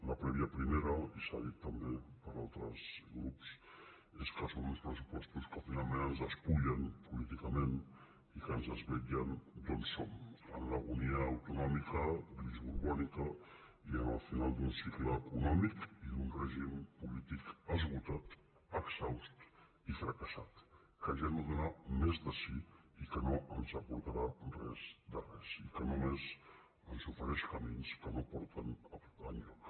la prèvia primera i s’ha dit també per altres grups és que són uns pressupostos que finalment ens despullen políticament i que ens desvetllen d’on som en l’agonia autonòmica grisborbònica i en el final d’un cicle econòmic i d’un règim polític esgotat exhaust i fra·cassat que ja no dóna més de si i que no ens aporta·rà res de res i que només ens ofereix camins que no porten enlloc